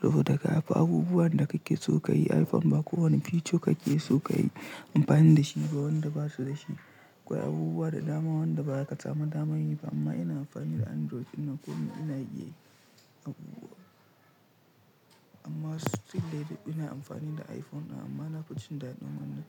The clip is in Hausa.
Saboda ga haka abubuwan da kake so ka yi iPhone ba kowane feature kake so ka yi amfani da shi ba wanda ba su da shi. Akwai abubuwa da dama wanda baya katama damani ba amma ina amfani da Android ina ko ina iya abubuwa. Amma sai dai na ɗauki ina amfani da iPhone amma na fi jin daɗin wannan.